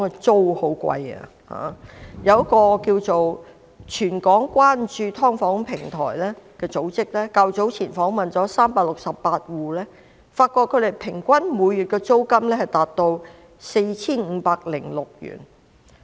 早前一個名為"全港關注劏房平台"的組織訪問了368個住戶，發現他們的平均每月租金達 4,506 元。